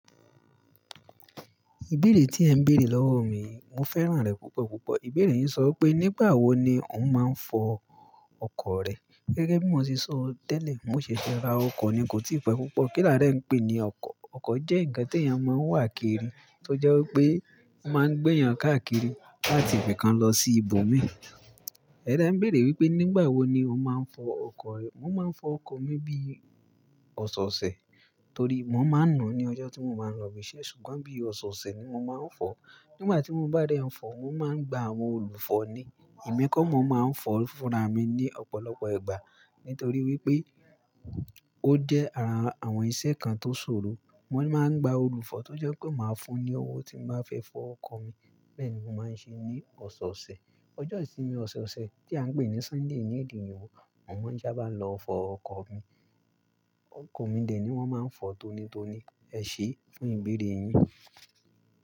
Ìbéèrè tí ẹ ń béèrè lọ́wọ́ mi, mo fẹ́ràn rẹ̀ púpọ̀ púpọ̀. Ìbéèrè yín sọ wopé nígbà wo ni ó n máa ń fọ ọkọ̀ rẹ. Gẹ́gẹ́ bí mo se sọ tẹ́lẹ̀, mo ṣẹ̀ṣẹ̀ ra ọkọ̀ ni kò tí pẹ́ púpọ̀. Kílà dẹ ń pè ní ọkọ̀? Ọkọ̀ jẹ́ ǹkan tí èèyàn máa ń wà kiri tó jẹ́ wipé o máa ń gbé èèyàn káàkiri láti ibìkan lọ sí ibòmíi e de ń béèrè wípé nígbà wo ni ó máa ń fọ ọkọ̀ rẹ. Mo máa ń fọ ọkọ̀ mi bí ọ̀ṣọ̀ọ̀ṣẹ̀ torí mo máa ń nu un ní ọjọ́ tí mo bá ń lọ ibi iṣẹ́. Ṣùgbọ́n bí ọ̀ṣọ̀ọ̀ṣẹ̀ ni mo máa ń fọ. Nígbà tí mo bá dẹ́ ń fọ, mo máa ń gba àwọn olùfọ̀ ni. Emi kọ́ mo máa ń fọ fúnra mi ní ọ̀pọ̀lọpọ̀ ìgbà nitorí wípé ó jẹ́ ara àwọn iṣẹ́ kan tó ṣòro. Mo máa ń gba olùfọ̀ tó jẹ́ pé máa fún ni owó tí n bá fẹ́ fọ ọkọ̀ mi bẹ́ẹ̀ni mo máa ń ṣe ní ọ̀ṣọ̀ọ̀ṣẹ̀. Ọjọ́ ìsinmi ọ̀ṣoọ̀ṣẹ̀ tí à ń pè ní Sunday ní èdè oyìnbọ́ mo máa ń sá bá n lọ fọ ọkọ̀ mi. Ọkọ̀ mi dè ni wọ́n máa ń fọ tonitoni. Ẹ ṣé fún ìbéèrè yín.